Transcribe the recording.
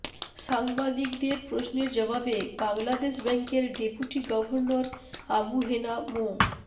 সাংবাদিকদের প্রশ্নের জবাবে বাংলাদেশ ব্যাংকের ডেপুটি গভর্নর আবু হেনা মো